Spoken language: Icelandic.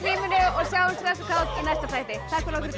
sjáumst hress og kát í næsta þætti takk